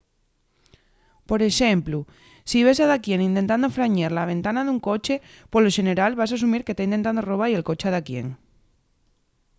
por exemplu si ves a daquién intentando frañer la ventana d’un coche polo xeneral vas asumir que ta intentando roba-y el coche a daquién